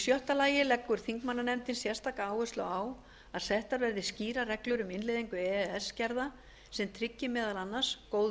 sjötta að settar verði skýrar reglur um innleiðingu e e s gerða sem tryggi meðal annars góð